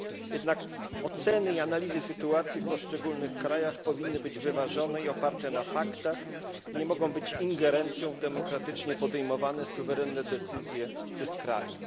Jednak oceny i analizy sytuacji w poszczególnych krajach powinny być wyważone i oparte na faktach, nie mogą być ingerencją w demokratycznie podejmowane suwerenne decyzje tych krajów.